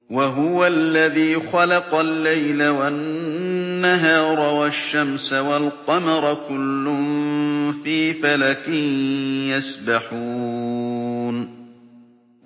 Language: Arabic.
وَهُوَ الَّذِي خَلَقَ اللَّيْلَ وَالنَّهَارَ وَالشَّمْسَ وَالْقَمَرَ ۖ كُلٌّ فِي فَلَكٍ يَسْبَحُونَ